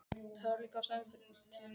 Það var líka ástæða til núna.